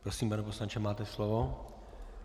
Prosím, pane poslanče, máte slovo.